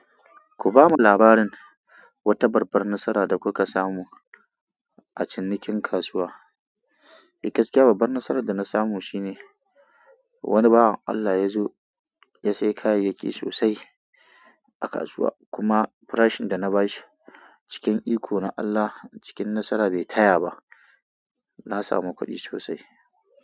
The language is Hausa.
Kubamu labarin wata babbar matsala da kuka samu a cinikin kasuwa. Eh, gaskiya babbar nasarar da na samu shine wani bawa Allah ya zo ya sayi kayayyaki sosai a kasuwa kuma farashin da na bashi cikin iko na Allah, cikin nasara bai taya ba. Na samu kuɗi sosai.